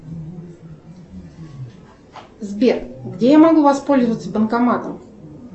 сбер где я могу воспользоваться банкоматом